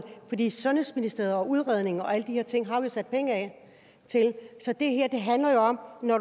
sundhedsministeriet og udredning og alle de her ting har vi sat penge af til så det her handler jo om at når